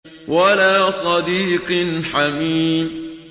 وَلَا صَدِيقٍ حَمِيمٍ